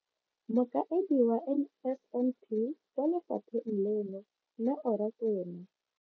Mokaedi wa NSNP kwa lefapheng leno, Neo Rakwena.